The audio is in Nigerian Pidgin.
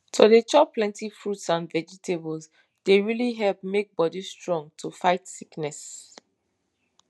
to dey chop plenty fruits and vegetables dey really help make bodi strong to fight sickness